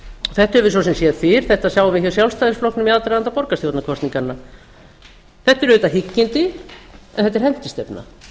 þetta höfum við svo sem séð fyrr þetta sáum við hjá sjálfstæðisflokknum í aðdraganda borgarstjórnarkosninganna þetta eru auðvitað hyggindi en þetta er